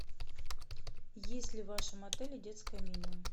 есть ли в вашем отеле детское меню